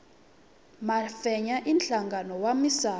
mafenya i nhlangano wa misawu